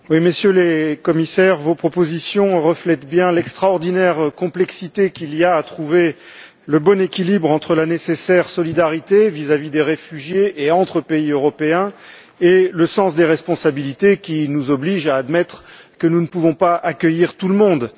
Monsieur le Président, Messieurs les Commissaires, vos propositions reflètent bien l'extraordinaire complexité qu'il y a à trouver le bon équilibre entre, d'une part, la nécessaire solidarité vis à vis des réfugiés et entre pays européens et, d'autre part, le sens des responsabilités qui nous oblige à admettre que nous ne pouvons pas accueillir tout le monde.